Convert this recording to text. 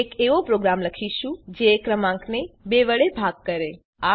આપણે એક એવો પ્રોગ્રામ લખીશું જે ક્રમાંકને ૨ વડે ભાગ કરે